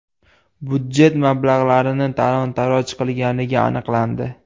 budjet mablag‘larini talon-toroj qilganligi aniqlandi.